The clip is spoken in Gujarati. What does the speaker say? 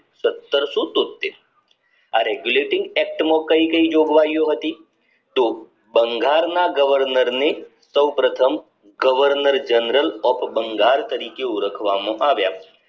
સતરસો તોત્તેર આ regulating act માં કઈ કઈ જોગવાઈઓ હતી તો બંગાળના governor ની સૌ પ્રથમ governor general of બઁગાળ ઓળખવામાં આવ્યા